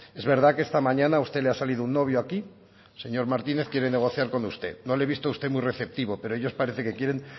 es verdad que esta mañana a usted la ha salido un novio aquí el señor martínez quiere negociar con usted no le he visto a usted muy receptivo pero ellos parecen que quieren